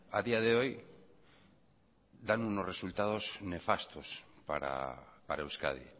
a día de hoy dan unos resultados nefastos para euskadi